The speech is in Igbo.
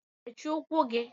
mechie ụkwụ gị!!